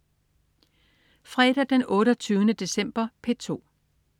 Fredag den 28. december - P2: